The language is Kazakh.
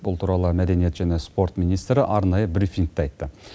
бұл туралы мәдениет және спорт министрі арнайы брифингте айтты